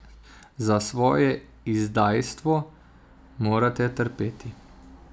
Za svoje izdajstvo morate trpeti.